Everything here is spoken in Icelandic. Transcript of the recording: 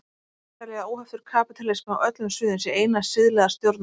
Þeir telja að óheftur kapítalismi á öllum sviðum sé eina siðlega stjórnarformið.